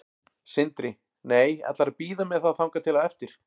Sindri: Nei, ætlarðu að bíða með það þangað til á eftir?